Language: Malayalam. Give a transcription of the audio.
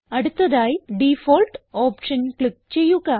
അടുത്തതായി ഡിഫോൾട്ട് ഓപ്ഷൻ ക്ലിക്ക് ചെയ്യുക